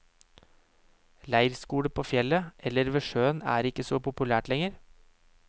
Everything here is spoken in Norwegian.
Leirskole på fjellet eller ved sjøen er ikke så populært lenger.